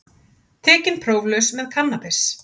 Tekinn próflaus með kannabis